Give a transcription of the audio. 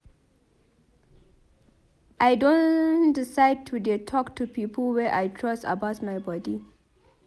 I don decide to dey talk to people wey I trust about my bodi.